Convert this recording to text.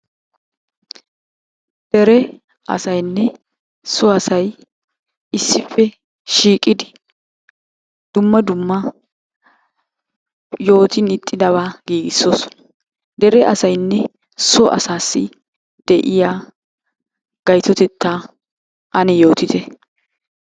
Dere asayinne so asay issippe shiiqidi dumma dumma yootin ixxidabaa giigissoosona. Dere asayinne so asaassi de'iya gayitotettaa ane yootite.